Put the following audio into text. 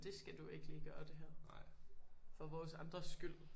Det skal du ikke lige gøre det her. For vores andres skyld